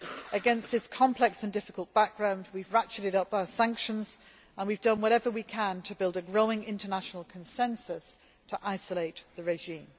Against this complex and difficult background, we have ratcheted up our sanctions and we have done whatever we can to build a growing international consensus to isolate the regime.